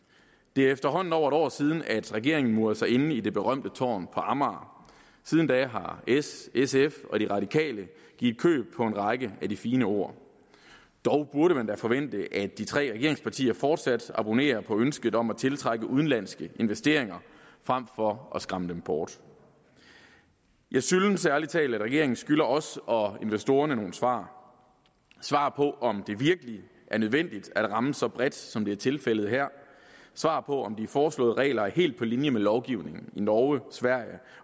det er efterhånden over et år siden at regeringen murede sig inde i det berømte tårn på amager siden da har s sf og de radikale givet køb på en række af de fine ord dog burde man da forvente at de tre regeringspartier fortsat abonnerer på ønsket om at tiltrække udenlandske investeringer frem for at skræmme dem bort jeg synes ærlig talt at regeringen skylder os og investorerne nogle svar svar på om det virkelig er nødvendigt at ramme så bredt som det er tilfældet her svar på om de foreslåede regler er helt på linje med lovgivningen i norge sverige